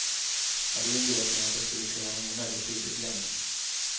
Hade inbillat mig att jag skulle kunna hänga med betydligt längre.